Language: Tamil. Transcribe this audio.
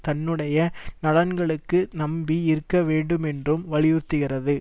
தன்னுடைய நலன்களுக்கு நம்பி இருக்க வேண்டும் என்றும் வலியுறுத்துகிறது